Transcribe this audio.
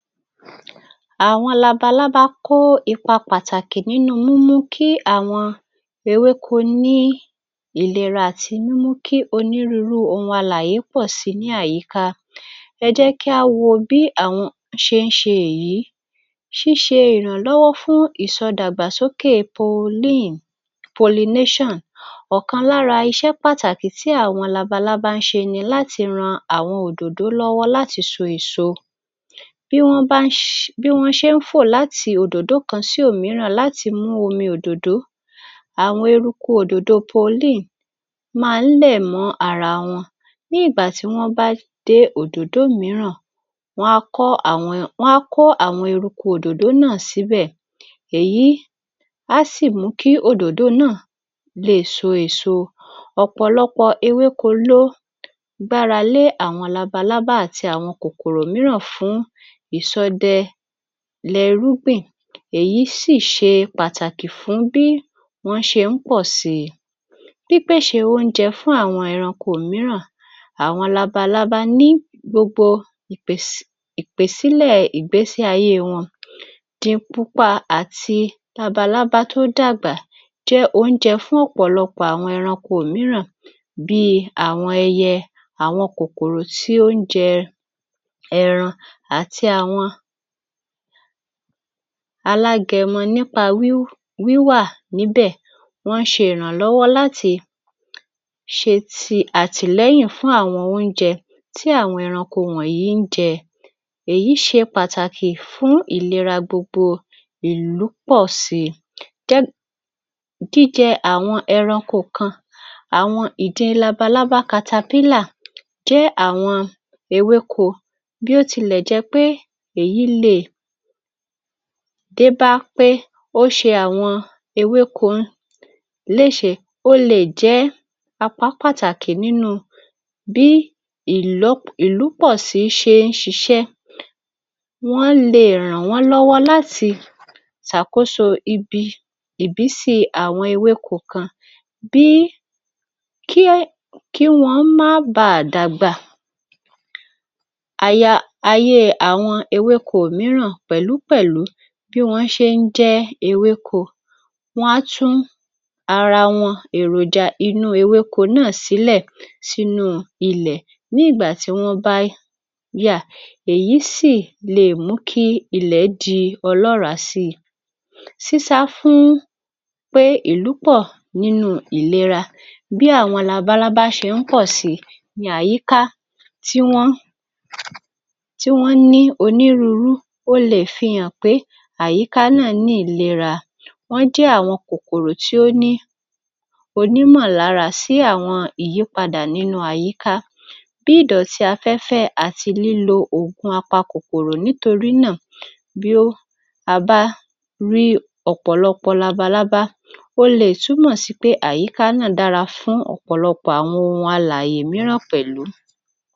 Àwọn labalábá kó ipa pàtàkì nínú múmú kí àwọn ewéko ní ìlera àti múmú kí onírúnrú ohun alàyè pọ̀ si ní àyíká. Ẹ jẹ́ kí á wo bí àwọn ṣe ń ṣe èyí: Ṣíṣe ìrànlọ́wọ́ fún ìsọdàgbàsoókè: ọ̀kan lára iṣẹ́ pàtàkì tí àwọn labalábá ń ṣe ni láti ran àwọn òdòdó lọ́wọ́ láti so èso. Bí wọ́n bá ń ṣ, bí wọ́n ṣe ń fò láti òdòdó kan sí òmíràn láti mú omi òdòdó, àwọn eruku òdòdó máa ń lẹ̀ mọ́ ara wọn. Ní ìgbà tí wọ́n bá dé òdòdó mìíràn, wọ́n á kọ́ àwọn, wọ́n á kó àwọn eruku òdòdó náà síbẹ̀. Èyí á sì mú kí òdòdó náà lè so èso. Ọ̀pọ̀lọpọ̀ ewéko ló gbára lé àwọn labalábá àti àwọn kòkòrò míràn fún ìsọdẹlẹrúgbìn, èyí sì ṣe pàtàkì fún bí wọ́n ṣe ń pọ̀ síi. Pípèṣè óúnjẹ fún àwọn ẹranko mìíràn: Awọn labalábá ni gbogbo ìpès, ìpèsílẹ̀ ìgbésí ayé wọn din pupa àti labalábá tó dàgbà jẹ́ óúnjẹ fún ọ̀pọ̀lọpọ̀ àwọn ẹranko mìíràn. Bí i àwọn ẹyẹ, àwọn kòkòrò tí ó ń jẹ ẹran àti àwọn alágẹmọ nípa wí, wíwà níbẹ̀, wọ́n ń ṣe ìrànlọ́wọ́ láti ṣe ti, àtìlẹ́yìn fún àwọn óúnjẹ tí àwọn ẹranko wọ̀nyí ń jẹ. Èyí ṣe pàtàkì fún ìlera gbogbo ìlú pọ̀ sí i. Gẹ́, jíjẹ àwọn ẹranko kan: Àwọn ìdin, labalábá, jẹ́ àwọn ewéko, bó tilẹ̀ jẹ́ pé èyi le è dé bá pé ó ṣe àwọn ewéko léṣe, ó le è jẹ́ apá pàtàkì nínú bí ìlọ́, ìlúpọ̀si ṣe ń ṣiṣẹ́. Wọ́n le è ràn wọ́n lọ́wọ́ láti ṣàkóso ibi, ìbísí àwọn ewéko kan bí i, kí wọ́n má bá a dàgbà. Aya, ayé àwọn ewéko mìíràn pẹ̀lúpẹ̀lú bí wọ́n ṣe ń jẹ́ ewéko: Wọ́n á tún àra wọ́n èròjà inú ewéko náà sílẹ̀ sínú ilẹ̀ nígbà tí wọ́n bá yà èyí sì le è mú kí ilẹ̀ di ọlọ́ràá sí i. Sísá fún pé ìlúpọ̀ nínú ìlera: Bí àwọn labalábá ṣe ń pọ̀ sí i, ni àyíká tí wọ́n, tí wọ́n ní onírúnrú. O lè fi han pé àyíká náà ní ìlera. Wọ́n jẹ́ àwọn kòkòrò tí ó ní, onímọ̀lára sì àwọn ìyípada nínú àyíká. Bí i ìdọ̀tí afẹ́fẹ́ àti lílo oògùn apakòkòrò. Torí náà, bí a bá rí ọ̀pọ̀lọpọ̀ labalábá, ó le è túmọ̀ sí pé àyíká náà dára fún ọ̀pọ̀lọpọ̀ àwọn ohun alàyè mìíràn pẹ̀lú.